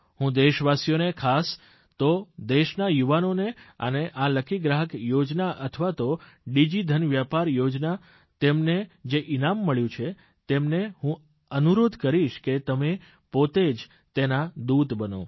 હું દેશવાસીઓને ખાસ તો દેશના યુવાનોને અને આ લકી ગ્રાહક યોજના અથવા તો ડીજીધન વ્યાપાર યોજના તેમને જે ઇનામ મળ્યું છે તેમને હું અનુરોધ કરીશ કે તમે પોતે જે તેના દૂત બનો